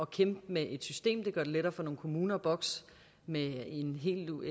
kæmpe med et system det gør det lettere for nogle kommuner at bokse med en